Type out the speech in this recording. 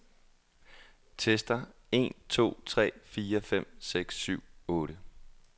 Tester en to tre fire fem seks syv otte.